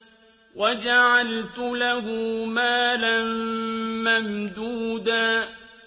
وَجَعَلْتُ لَهُ مَالًا مَّمْدُودًا